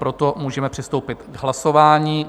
Proto můžeme přistoupit k hlasování.